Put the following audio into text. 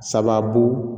Sababu